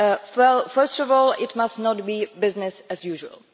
Well, first of all, it must not be business as usual.